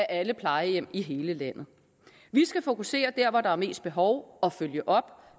alle plejehjem i hele landet vi skal fokusere der hvor der er mest behov og følge op